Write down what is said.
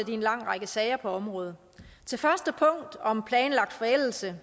i en lang række sager på området til første punkt om planlagt forældelse